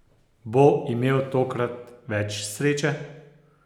Bo imel tokrat več sreče?